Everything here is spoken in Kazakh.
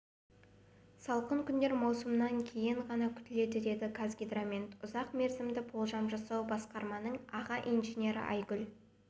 салқын күндер маусымның кейін ғана күтіледі деді қазгидромет ұзақ мерзімді болжам жасау басқармасының аға инженері айгүл